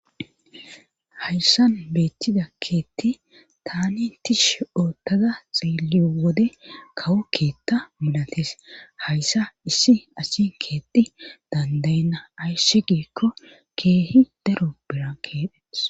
Hayssan beettida keetti tani tish oottaza xielliyo wode kawo keetta milatees hayssa issi asi keetti dandaynna ayssi giikko keehi daro bira keedhes.